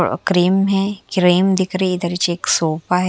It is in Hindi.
अ क्रीम हे क्रीम दिख रही हे इधर हीच एक सोफा हैं।